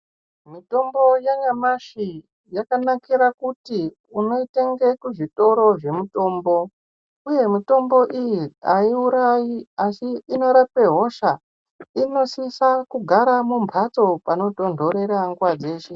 Mitombo yanyamashi yakanakira kuti unoitenga kuzvitoro zvemitombo uye mitombo iyi aiurayi asi inorapa hosha Inosisa kugara mumbatso panotondorera nguwa dzeshe.